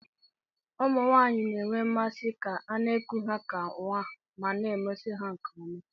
Ụmụ nwanyị na-enwe mmasị ka a na-eku ha ka nwa ma na-emeso ha nke ọma